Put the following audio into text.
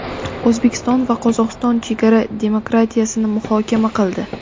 O‘zbekiston va Qozog‘iston chegara demarkatsiyasini muhokama qildi.